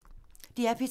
DR P3